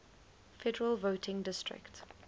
federal voting district